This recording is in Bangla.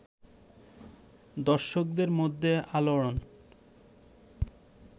দর্শকদের মধ্যে আলোড়ন